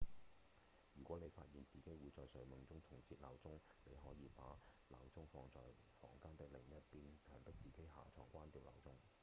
如果你發現自己會在睡夢中重設鬧鐘你可以把鬧鐘放在房間的另一邊強迫自己下床關掉鬧鐘